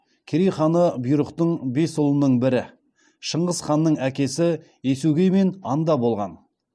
керей ханы бұйрықтың бес ұлының бірі шыңғыс ханның әкесі есугеймен анда болған